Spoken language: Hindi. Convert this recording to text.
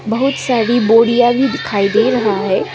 बहुत सारी बोरियां भी दिखाई दे रहा है।